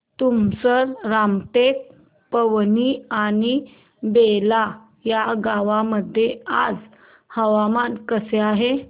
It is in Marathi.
तुमसर रामटेक पवनी आणि बेला या गावांमध्ये आज हवामान कसे आहे